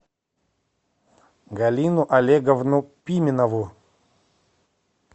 галину олеговну пименову